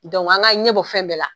Dɔnku an k'a ɲɛ bɔ fɛn bɛɛ la.